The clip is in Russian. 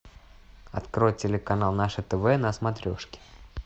открой телеканал наше тв на смотрешке